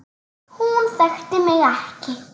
Hún þekkti mig ekki.